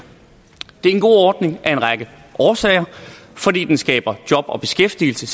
det er en god ordning af en række årsager den skaber job og beskæftigelse